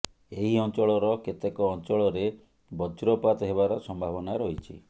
ଏହି ଅଞ୍ଚଳର କେତେକ ଅଞ୍ଚଳରେ ବଜ୍ରପାତ ହେବାର ସମ୍ଭାବନା ରହିଛି